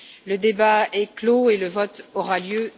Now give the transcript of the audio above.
Le débat est clos. Le vote aura lieu